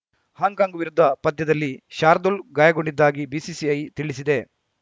Hong Kong ವಿರುದ್ಧ ಪಂದ್ಯದಲ್ಲಿ ಶಾರ್ದೂಲ್‌ ಗಾಯಗೊಂಡಿದ್ದಾಗಿ ಬಿಸಿಸಿಐ ತಿಳಿಸಿದೆ